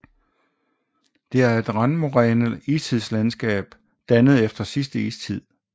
Det er et randmoræne istidslandskab dannet efter sidste istid